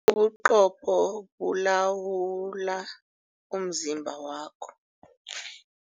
Ubuqopho bulawula umzimba wakho.